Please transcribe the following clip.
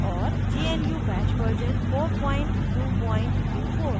gnu bash version 4224